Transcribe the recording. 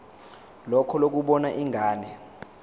lakho lokubona ingane